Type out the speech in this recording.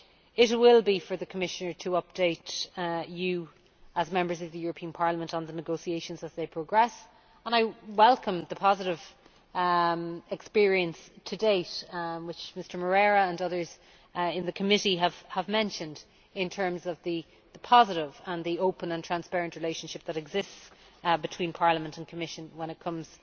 It will be up to the Commissioner to update you, as Members of the European Parliament, on the negotiations as they progress, and I welcome the positive experience to date, which Mr Moreira and others in the committee have mentioned in terms of the positive, open and transparent relationship that exists between Parliament and the Commission when it comes